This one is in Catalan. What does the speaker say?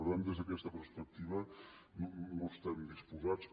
per tant des d’aquesta perspectiva no estem disposats